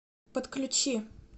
подключи